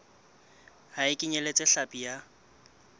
ha e kenyeletse hlapi ya